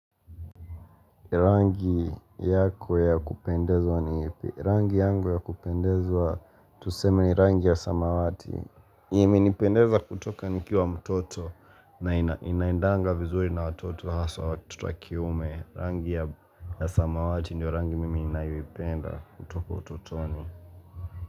Rangi yako ya kupendezwa ni ipi. Rangi yangu ya kupendezwa. Tuseme rangi ya samawati. Imenipendeza kutoka nikiwa mtoto na ina inaendanga vizuri na watoto haswa watoto kiume. Rangi ya ya samawati ndo rangi mimi ninayoipenda kutoka utotoni.